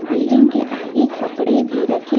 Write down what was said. building के आगे कपड़े भी रखे--